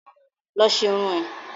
Lọ ṣe irun ẹ̀!